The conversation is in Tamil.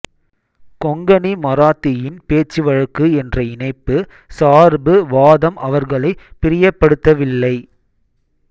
கொங்கணி மராத்தியின் பேச்சுவழக்கு என்ற இணைப்பு சார்பு வாதம் அவர்களைப் பிரியப்படுத்தவில்லை